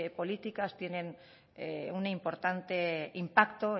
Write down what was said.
políticas tienen un importante impacto